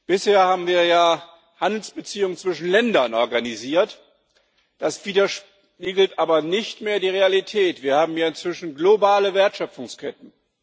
Bisher haben wir ja Handelsbeziehungen zwischen Ländern organisiert, das spiegelt aber nicht mehr die Realität wider. Wir haben ja inzwischen globale Wertschöpfungsketten.